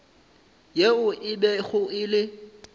yeo e bego e le